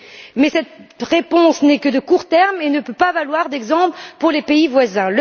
Mais cette réponse n'est que de courte durée et ne peut pas valoir d'exemple pour les pays voisins.